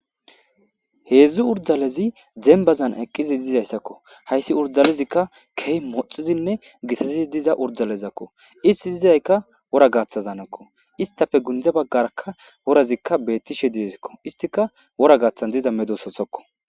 heedzdzu urdalezi dembazan eqqizi dizayssakko hayssi urdalezikka kehi moxizinne gitazii diza urdalezakko isti zizayka wora gaaththazanekko istafe gundze baggarakka worazikka beettishe dizikko istika wora gaaththan diza medososokko